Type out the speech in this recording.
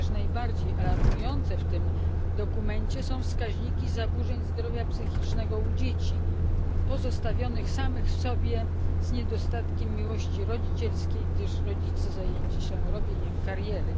Chociaż najbardziej alarmujące w tym dokumencie są wskaźniki zaburzeń zdrowia psychicznego u dzieci, pozostawionych samych sobie z niedostatkiem miłości rodzicielskiej, gdyż rodzice zajęci są robieniem kariery.